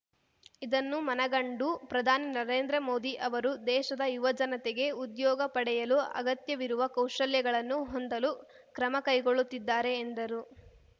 ಇದನ್ನು ಮನಗಂಡು ಪ್ರಧಾನಿ ನರೇಂದ್ರ ಮೋದಿ ಅವರು ದೇಶದ ಯುವಜನತೆಗೆ ಉದ್ಯೋಗ ಪಡೆಯಲು ಅಗತ್ಯವಿರುವ ಕೌಶಲ್ಯಗಳನ್ನು ಹೊಂದಲು ಕ್ರಮಕೈಗೊಳ್ಳುತ್ತಿದ್ದಾರೆ ಎಂದರು